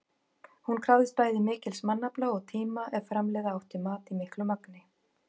Hún krafðist bæði mikils mannafla og tíma ef framleiða átti mat í miklu magni.